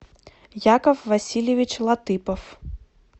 яков васильевич латыпов